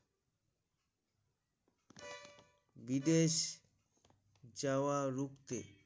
বিদেশ যাওয়া রুখতে